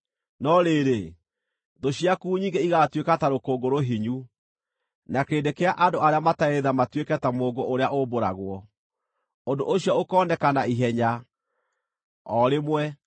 No rĩrĩ, thũ ciaku nyingĩ ĩgaatuĩka ta rũkũngũ rũhinyu, na kĩrĩndĩ kĩa andũ arĩa matarĩ tha matuĩke ta mũũngũ ũrĩa ũmbũragwo. Ũndũ ũcio ũkooneka na ihenya, o rĩmwe,